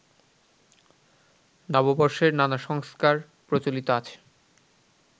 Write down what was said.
নববর্ষের নানা সংস্কার প্রচলিত আছে